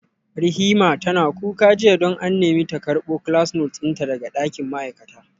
Rihima tana kuka jiya don an nemi ta karbo class note dinta daga dakin ma'aikata